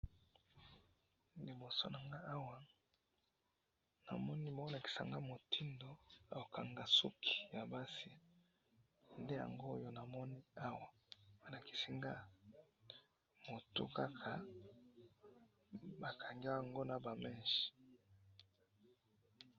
liboso nangai awa, namoni bolakisa ngai motindo akangaka suki ya basi, nde yango oyo namoni awa balakisi nga muto kaka bakangi yango naba meches